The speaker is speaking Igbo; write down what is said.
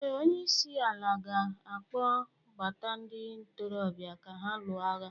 ee, onye isi ala ga-akpọ gbata ndị ntorobịa ka ha lụọ agha